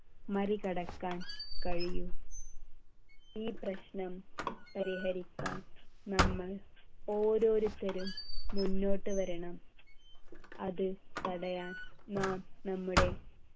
മറികടക്കാൻ കഴിയു ഈ പ്രശ്നം പരിഹരിക്കാൻ നമ്മൾ ഓരോരുത്തരും മുന്നോട്ടു വരണം അത് തടയാൻ നാം നമ്മുടെ